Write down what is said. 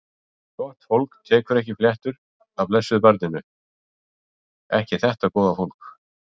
Gott fólk tekur ekki fléttur af blessuðu barninu, ekki þetta góða fólk.